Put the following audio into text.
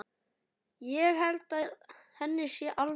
Ég held að henni sé alvara.